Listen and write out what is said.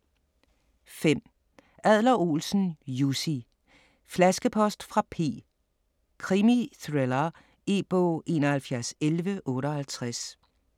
5. Adler-Olsen, Jussi: Flaskepost fra P: krimithriller E-bog 711158